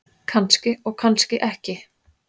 Kannski og kannski ekki.